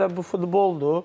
Ona görə bu futboldur.